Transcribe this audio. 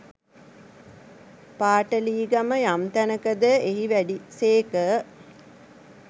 පාටලීගම යම් තැනක ද එහි වැඩි සේක.